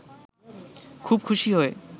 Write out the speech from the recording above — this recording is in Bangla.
খুব খুশি হয়ে